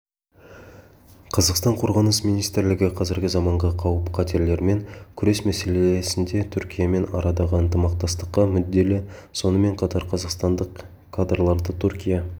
қазақстан қорғаныс министрлігі қазіргі заманғы қауіп-қатерлермен күрес мәселесінде түркиямен арадағы ынтымақтастыққа мүдделі сонымен қатар қазақстандық кадрларды түркия